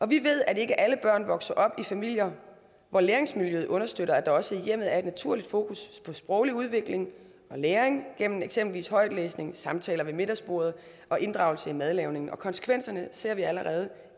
vi ved at ikke alle børn vokser op i familier hvor læringsmiljøet understøtter at der også i hjemmet er et naturligt fokus på sproglig udvikling og læring gennem eksempelvis højtlæsning samtaler ved middagsbordet og inddragelse i madlavningen og konsekvenserne ser vi allerede